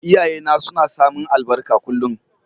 Iyaye na suna samin albarka kullum.